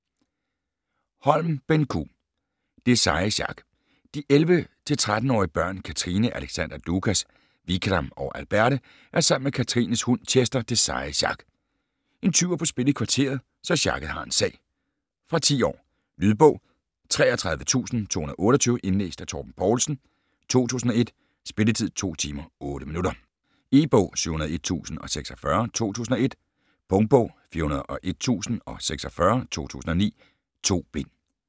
Holm, Benn Q.: Det seje sjak De 11-13-årige børn, Katrine, Alexander, Lukas, Vikram og Alberte er sammen med Katrines hund, Chester, Det seje sjak. En tyv er på spil i kvarteret, så sjakket har en sag. Fra 10 år. Lydbog 33228 Indlæst af Torben Poulsen, 2001. Spilletid: 2 timer, 8 minutter. E-bog 701046 2001. Punktbog 401046 2009. 2 bind.